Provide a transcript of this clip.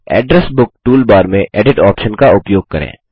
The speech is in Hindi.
एड्रेस बुक टूलबार में एडिट ऑप्शन का उपयोग करें